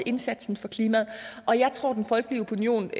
indsatsen for klimaet og jeg tror den folkelige opinion